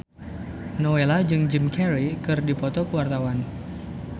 Nowela jeung Jim Carey keur dipoto ku wartawan